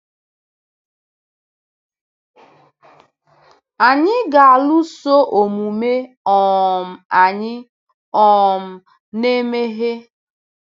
Anyị ga-alụso omume um anyị um na-emehie.